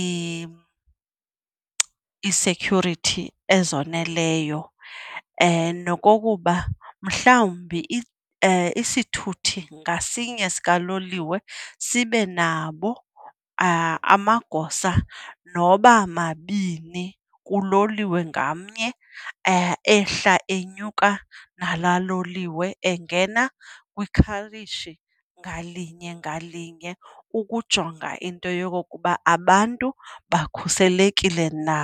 ii-security ezoneleyo. Nokokuba mhlawumbi isithuthi ngasinye sikaloliwe sibe nabo amagosa noba mabini kuloliwe ngamnye ehla enyuka nalaa loliwe engena kwikhareji ngalinye ngalinye ukujonga into yokokuba abantu bakhuselekile na.